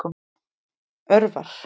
Örvar